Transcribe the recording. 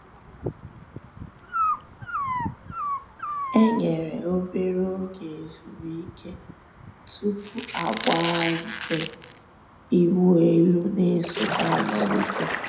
E nyèrè òbèrè ògè èzùmìké túpù àgbà nke ị̀wụ̀ èlù nà-èsọ̀té àmàlítè.